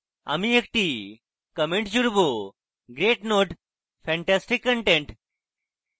আমি একটি comment জুড়ব – great node! fantastic content